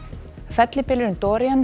fellibylurinn